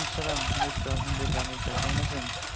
আসলাম এই তো আলহামদুলিল্লাহ আনুস ভাই কেমন আছেন?